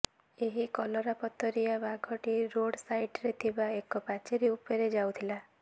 ଏହି କଲରାପତରିଆ ବାଘଟି ରୋଡ ସାଇଡରେ ଥିବା ଏକ ପାଚେରୀ ଉପରେ ଯାଉଥିଲା